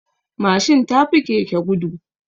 Mashin tafi keke gudu